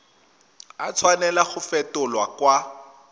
a tshwanela go fetolwa kwa